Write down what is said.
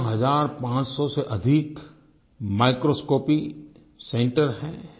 तेरह हज़ार पांच सौ से अधिक माइक्रोस्कोपी सेंटर हैं